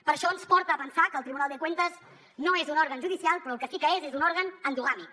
per això ens porta a pensar que el tribunal de cuentas no és un òrgan judicial però el que sí que és és un òrgan endogàmic